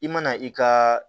I mana i ka